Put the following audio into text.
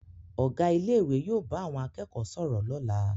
Ọ̀gá ilé ìwé yóò bá àwọn akẹ́kọ̀ọ́ sọ̀rọ̀ lọ́la